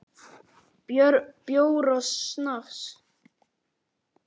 Bjór og snafs.